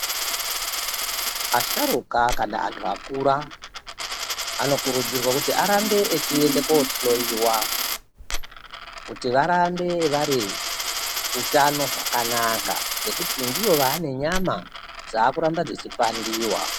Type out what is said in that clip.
Asharukwa kana antu akura anokurudzirwa kuti arambe achienda kohloiwa Kuti varambe vane hutano hwakanaka ngekuti ndiwo vane nyama dzakuramba dzichipandiwa.